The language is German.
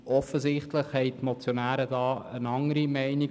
Offensichtlich sind die Motionäre anderer Meinung.